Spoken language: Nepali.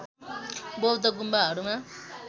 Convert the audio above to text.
बौद्ध गुम्बाहरूमा